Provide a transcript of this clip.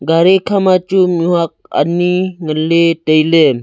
gari kha ma chu mih huak ani ngan ley tailey.